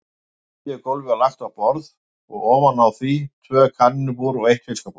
Á miðju gólfi var langt borð og ofan á því tvö kanínubúr og eitt fiskabúr.